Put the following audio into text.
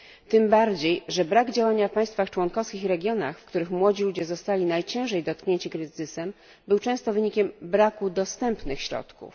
Tym bardziej, że brak działania w państwach członkowskich i regionach, w których młodzi ludzie zostali najciężej dotknięci kryzysem, był często wynikiem braku dostępnych środków.